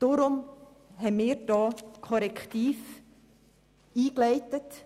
Deshalb haben wir diesbezüglich Korrektive eingeleitet.